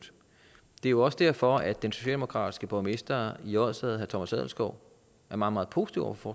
det er jo også derfor at den socialdemokratiske borgmester i odsherred thomas adelskov er meget meget positiv over for